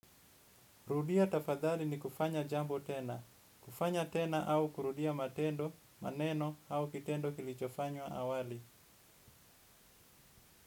Rudia tafadhali ni kufanya jambo tena. Kufanya tena au kurudia matendo, maneno au kitendo kilichofanywa awali.